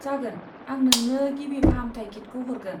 जागोन, आं नोनो गिबि फाहामथाय किटखौ हरगोन।